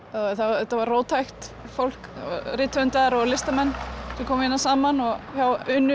þetta var róttækt fólk rithöfundar og listamenn sem kom hérna saman hjá Unu